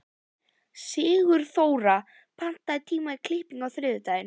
Sigurþóra, pantaðu tíma í klippingu á þriðjudaginn.